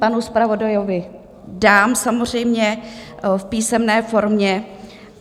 Panu zpravodajovi dám samozřejmě v písemné formě.